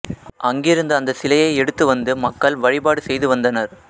அங்கிருந்து அந்த சிலையை எடுத்து வந்து மக்கள் வழிபாடு செய்து வந்தனர்